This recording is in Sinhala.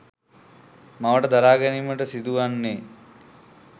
මවට දරා ගැනීමට සිදුවන්නේය.